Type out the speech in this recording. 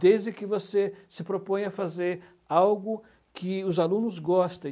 Desde que você se proponha a fazer algo que os alunos gostem.